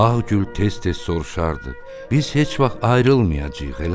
Ağgül tez-tez soruşardı: "Biz heç vaxt ayrılmayacağıq, eləmi?"